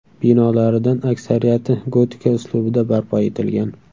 Binolaridan aksariyati gotika uslubida barpo etilgan.